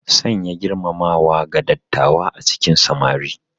Sanya girmamawa ga dattawa a cikin samari.